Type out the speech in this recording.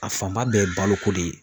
A fanba bɛɛ ye baloko de ye.